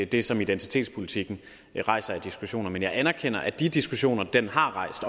det som identitetspolitikken rejser af diskussioner men jeg anerkender at de diskussioner den har rejst